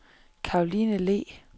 Karoline Le